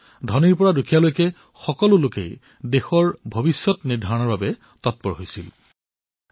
ধনীৰ পৰা দুখীয়ালৈ সকলো লোকে এই উৎসৱত আনন্দেৰে আমাৰ দেশৰ ভৱিষ্যতৰ সিদ্ধান্ত গ্ৰহণৰ বাবে তৎপৰতাৰে অংশগ্ৰহণ কৰিছিল